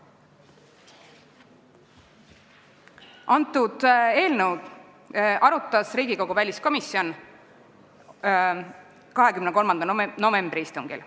Seda eelnõu arutas Riigikogu väliskomisjon 23. novembri istungil.